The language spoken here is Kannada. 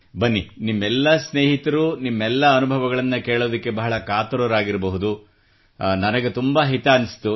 ಬನ್ನಿ ನಿಮ್ಮೆಲ್ಲ ಸ್ನೇಹಿತರು ನಿಮ್ಮೆಲ್ಲ ಅನುಭವಗಳನ್ನು ಕೇಳಲು ಬಹಳ ಕಾತುರರಾಗಿರಬಹುದು ಆದರೆ ನನಗೆ ತುಂಬಾ ಹಿತವೆನಿಸಿತು